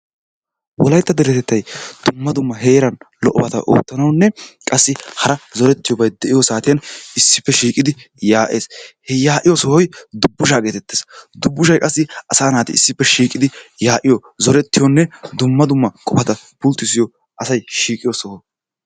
Wolaytta deretettay dumma dumma heeran lo'o bata oottanawunne qassi hara zorettiyobay de'iyo saatiyan issippe shiiqidi yaa'es. He yaa'iyo sohoy dubbishaa geetettes. Dubbushay qassi asaa naati issippe shiiqidi yaa'iyo zorettiyonne dumma dumma qofata pulttiissiyo asay shiiqiyo soho.